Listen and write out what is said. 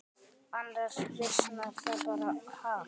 Annars visnar það bara, ha.